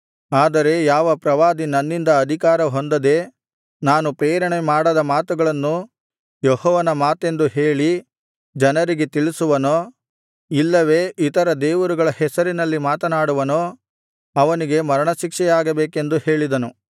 ಆದರೆ ಯಾವ ಪ್ರವಾದಿ ನನ್ನಿಂದ ಅಧಿಕಾರಹೊಂದದೆ ನಾನು ಪ್ರೇರಣೆಮಾಡದ ಮಾತುಗಳನ್ನು ಯೆಹೋವನ ಮಾತೆಂದು ಹೇಳಿ ಜನರಿಗೆ ತಿಳಿಸುವನೋ ಇಲ್ಲವೆ ಇತರ ದೇವರುಗಳ ಹೆಸರಿನಲ್ಲಿ ಮಾತನಾಡುವನೋ ಅವನಿಗೆ ಮರಣಶಿಕ್ಷೆಯಾಗಬೇಕೆಂದು ಹೇಳಿದನು